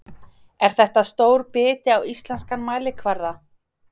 Er þetta stór biti á íslenskan mælikvarða?